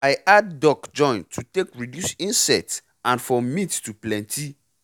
i add duck join to take reduce insect and for meat to plenty